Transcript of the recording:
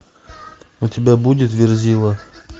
у тебя будет верзила